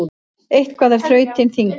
Eitthvað er þrautin þyngri